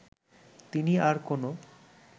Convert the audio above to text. তিনি আর কোনো